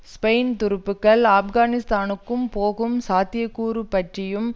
Spain துருப்புக்கள் ஆப்கானிஸ்தானுக்கு போகும் சாத்தியக்கூறு பற்றியும்